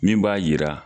Min b'a yira